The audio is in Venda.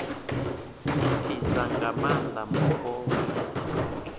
thithisa nga maanda mupo hune